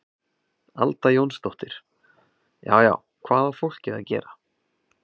Alda Jónsdóttir: Já já, hvað á fólkið að gera?